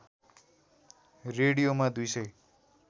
रेडियोमा दुई सय